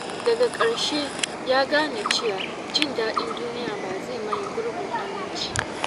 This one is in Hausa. Daga ƙarshe, ya gane cewa jin daɗin duniya ba zai maye gurbin aminci ba.